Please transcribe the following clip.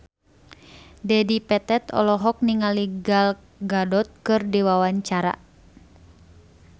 Dedi Petet olohok ningali Gal Gadot keur diwawancara